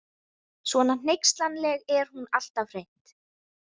Svona hneykslanleg er hún alltaf hreint.